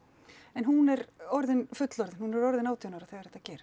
en hún er orðin fullorðin hún er orðin átján ára þegar þetta